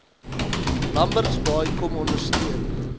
lambertsbaai kom ondersteun